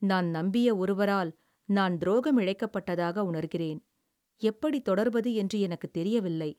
"நான் நம்பிய ஒருவரால் நான் துரோகம் இழைக்கப்பட்டதாக உணர்கிறேன். எப்படித் தொடர்வது என்று எனக்குத் தெரியவில்லை."